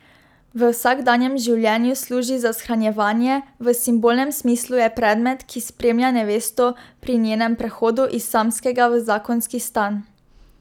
V vsakdanjem življenju služi za shranjevanje, v simbolnem smislu je predmet, ki spremlja nevesto pri njenem prehodu iz samskega v zakonski stan.